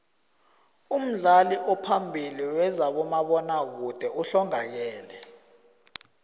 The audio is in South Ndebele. umdlali ophambili wezabomabona kude uhlongakele